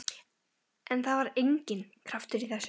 En það var enginn kraftur í þessu.